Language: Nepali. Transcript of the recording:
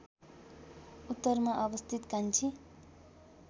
उत्तरमा अवस्थित कान्छी